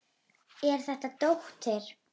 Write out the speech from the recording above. Er þetta dóttir.